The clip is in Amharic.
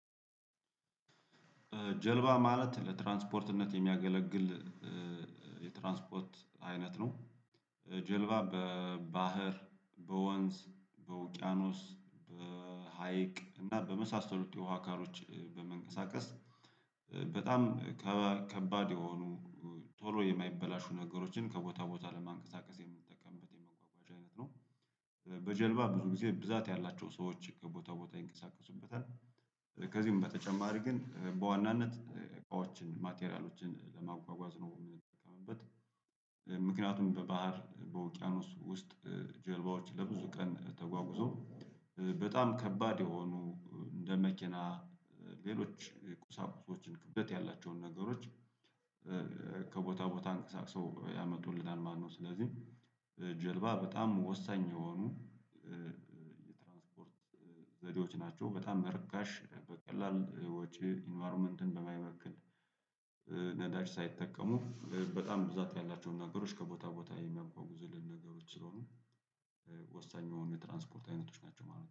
ጀልባ ማለት ለትራንስፖርትነት የሚያገለግል የትራንስፖርት አይነት ነው። ጀልባ በባህር በወንዝ በውቅያኖስ በሀይቅ እና በመሳሰሉት የውሃ አካሎች በመንቀሳቀስ በጣም ከባድ የሆኑ ቶሎ የማይበላሹ ነገሮችን ከቦታ ቦታ ለማንቀሳቀስ የምትጠቀምበት የመጓጓዣች አይነት ነው። በጀልባ ብዙ ጊዜ ብዛት ያላቸው ሰዎች ከቦታ ቦታ ይንቀሳቀሱበታል። ከዚህም በተጨማሪ ግን በዋናነት እቃዎችን ማቴሪያሎችን ለማጓጓዝ ነው የምንጠቀመውበት። ምክንያቱም በባህር በውቅያኖስ ውስጥ ጀልባዎች ለብዙ ቀን ተጓጉዘው በጣም ከባድ የሆኑ እንደ መኪና ሌሎች ቁሳቁሶችን ክብደት ያላቸውን ነገሮች። ከቦታ ቦታ አንቀሳቅሰው ያመጡልናል ማለት ነው። ስለዚህ ጀልባ በጣም ወሳኝ የሆኑ የትራንስፖርት ዘዴዎች ናቸው። በጣም በርካሽ በቀላል ወጪ ኢንቫይሮመንትን በማይበክል ነዳጅ ሳይጠቀሙ በጣም ብዛት ያላቸውን ነገሮች ከቦታ ቦታ የሚያጓጉዙልን ነገሮች ስለሆኑ ወሳኝ የሆኑ የትራንስፖርት አይነቶች ናቸው ማለት ነው